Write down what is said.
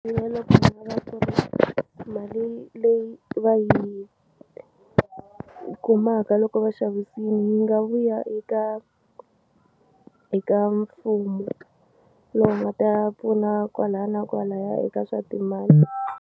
Na loko ku nga va ku ri mali leyi va yi kumaka loko va xavisini yi nga vuya eka eka mfumo lowu nga ta ya pfuna kwalaya na kwalaya eka swa timali.